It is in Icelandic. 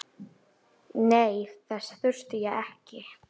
Nei, þess þurfti ég ekki.